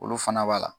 Olu fana b'a la